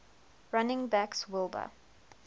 running backs wilbur